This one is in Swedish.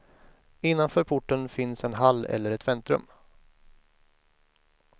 Innanför porten finns en hall eller ett väntrum.